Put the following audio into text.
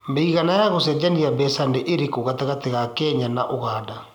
mĩigana ya gũcenjia mbeca nĩ ĩrikũ gatagatiinĩ ka Kenya na Uganda